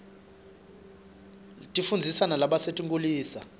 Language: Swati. tifundzisa nalabasetinkhulisa